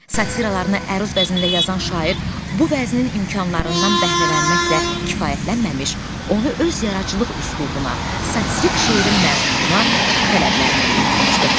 Satıralarını əruz vəznində yazan şair bu vəznin imkanlarından bəhrələnməklə kifayətlənməmiş, onu öz yaradıcılıq üslubuna, satirik şeirin məzmununa, tələblərinə uyğunlaşdırmışdı.